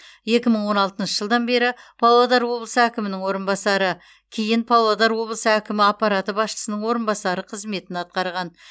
екі мың он алтыншы жылдан бері павлодар облысы әкімінің орынбасары кейін павлодар облысы әкімі аппараты басшысының орынбасары қызметін атқарған